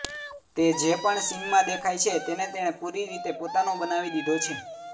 તે જે પણ સીનમાં દેખાય છે તેને તેણે પૂરી રીતે પોતાનો બનાવી દીધો છે